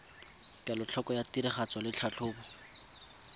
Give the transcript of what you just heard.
kelotlhoko ya tiragatso le tlhatlhobo